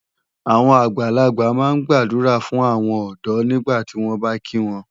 Àwọn àgbàlagbà máa ń gbàdúrà fún àwọn ọ̀dọ́ nígbàtí wọ́n bá kí wọn.